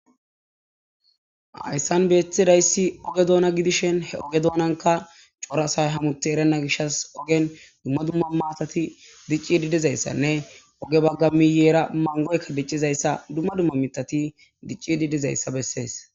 Hayssan beetidayssi oge doona gidishin he oge doonankka cora asay hamutti erena gishas ogen dumma dumma maatati diciidi dizayssanne oge baga miyeera mangoykka diciizayssa dumma dumma miththati diciidi dizayssa besees.